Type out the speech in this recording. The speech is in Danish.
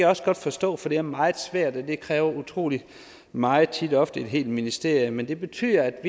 også godt forstå for det er meget svært og det kræver utrolig meget tit ofte et helt ministerium men det betyder